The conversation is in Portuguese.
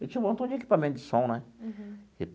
Eu tinha um montão de equipamento de som, né?